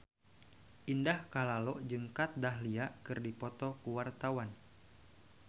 Indah Kalalo jeung Kat Dahlia keur dipoto ku wartawan